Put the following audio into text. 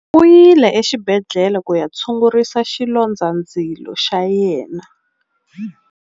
U yile exibedhlele ku ya tshungurisa xilondzandzilo xa yena.